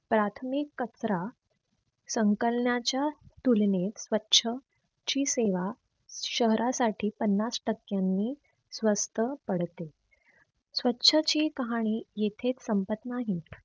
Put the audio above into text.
प्राथमिक कचरा संकलनाच्या तुलनेत स्वछ ची सेवा शहरासाठी पन्नास टक्क्यांनी स्वस्त पडते स्वछची काहाणी येथेच संपत नाही.